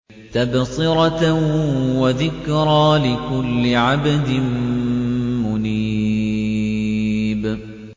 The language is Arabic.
تَبْصِرَةً وَذِكْرَىٰ لِكُلِّ عَبْدٍ مُّنِيبٍ